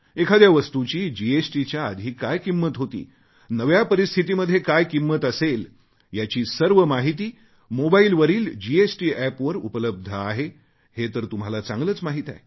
एखाद्या वस्तूची जीएसटीच्या आधी काय किंमत होती नव्या परिस्थितीमध्ये काय किंमत असेल याची सर्व माहिती मोबाइलवरील जीएसटी App वर उपलब्ध आहे हे तर तुम्हाला चांगलेच माहीत आहे